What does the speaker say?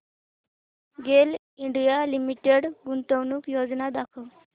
गेल India Limited गुंतवणूक योजना दाखव